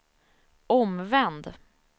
omvänd